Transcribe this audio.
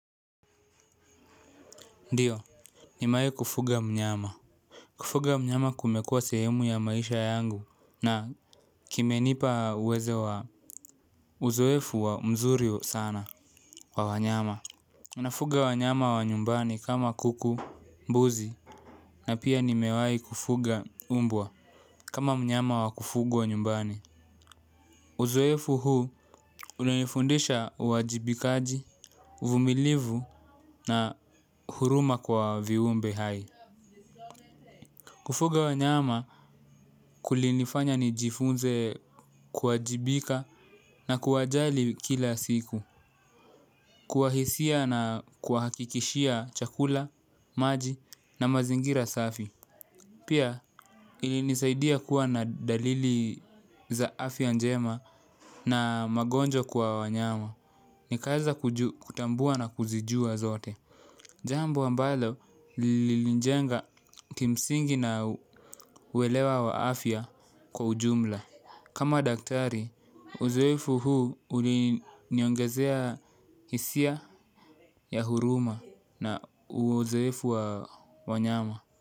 Ndio, nimewai kufuga mnyama. Kufuga mnyama kumekua sehemu ya maisha yangu na kimenipa uwezo wa uzoefu wa mzuri sana wa wanyama. Nafuga wanyama wa nyumbani kama kuku, mbuzi, na pia nimewai kufuga mbwa kama mnyama wa kufugwa nyumbani. Uzoefu huu unanifundisha uwajibikaji, uvumilivu na huruma kwa viumbe hai. Kufuga wanyama kulinifanya nijifunze kuwajibika na kuwajali kila siku. Kuwahisia na kuwahakikishia chakula, maji na mazingira safi. Pia ilinisaidia kuwa na dalili za afya njema na magonjwa kwa wanyama. Nikaweza kutambua na kuzijua zote. Jambo ambalo lilinijenga kimsingi na uelewa wa afya kwa ujumla. Kama daktari, uzoefu huu uliniongezea hisia ya huruma na uzoefu wa wanyama.